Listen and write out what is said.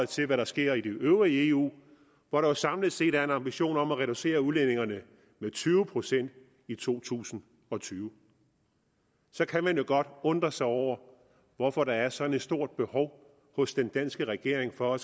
til hvad der sker i det øvrige eu hvor der jo samlet set er en ambition om at reducere udledningerne med tyve procent i to tusind og tyve så kan man jo godt undre sig over hvorfor der er sådan et stort behov hos den danske regering for at